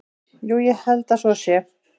Jú, ég held að svo sé.